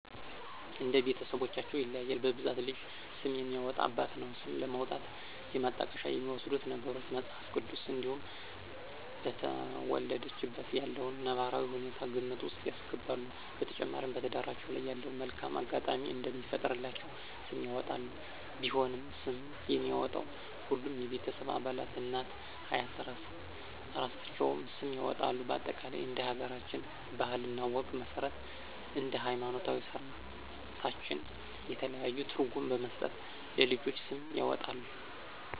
እንደ ቤተስቦቻቸው ይለያያል በብዛት ለልጅ ስም የሚያወጣ አባት ነው። ስም ለማውጣት የማጣቀሻ የሚወስዱት ነገሮች:- መጽሐፍ ቅዱስ እንዲሁም በተወለደችበት ያለውን ነባራዊ ሁኔታ ግምት ውስጥ ያስገባሉ። በተጨማሪ በትዳራቸው ላይ ያለውን መልካም አጋጣሚ እንዲፈጥርላቸው ስም ያወጣሉ። ቢሆንም ስምን የሚያወጣው ሁሉም የቤተሰብ አባላት እናት፤ አያት እራሳቸውም ስም ያወጣሉ በአጠቃላይ እንደ ሀገራችን ባህል እና ወግ መስረት እንደ ሀይማኖታዊ ስራታችን የተለያዩ ትርጉም በመስጠት ለልጆች ስም ይወጣል